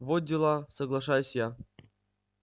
во дела соглашаюсь я